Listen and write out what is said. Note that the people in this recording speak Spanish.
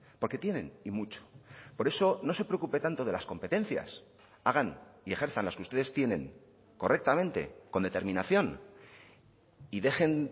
porque tienen y mucho por eso no se preocupe tanto de las competencias hagan y ejerzan las que ustedes tienen correctamente con determinación y dejen